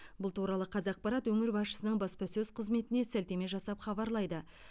бұл туралы қазақпарат өңір басшысының баспасөз қызметіне сілтеме жасап хабарлайды